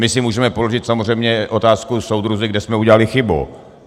My si můžeme položit samozřejmě otázku: soudruzi, kde jsme udělali chybu?